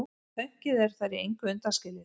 Pönkið er þar í engu undanskilið.